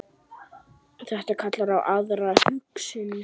Þetta kallar á aðra hugsun.